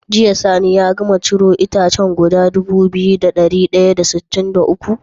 Jiya sani ya gama ciro itacen guda Dubu biyu da dari daya da sitin da uku?